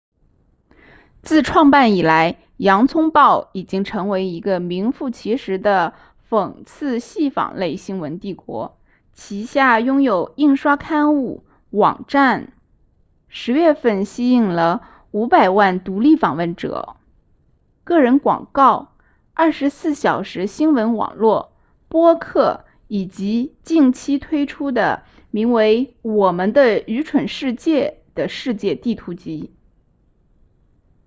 自创办以来洋葱报已经成为一个名副其实的讽刺戏仿类新闻帝国旗下拥有印刷刊物网站10月份吸引了500万独立访问者个人广告24小时新闻网络播客以及近期推出的名为我们的愚蠢世界的世界地图集